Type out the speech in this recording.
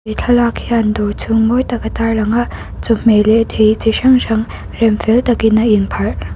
thlalak hian dawr chhung mawi tak a tarlang a chawhmeh leh thei chi hrang hrang rem fel takin a in pharh--